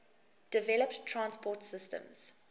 developed transport systems